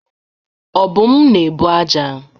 Obum na-ebu aja.